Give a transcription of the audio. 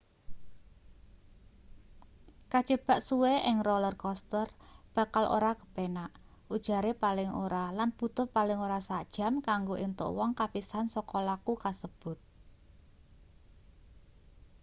kajebak suwe ing roller coaster bakal ora kepenak ujare paling ora lan butuh paling ora sak jam kanggo entuk wong kapisan saka laku kasebut